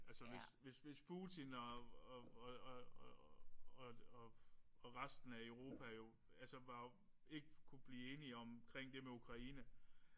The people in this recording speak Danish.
Altså hvis hvis hvis Putin og og og og og resten af Europa jo altså var jo ikke kunne blive enige omkring det med Ukraine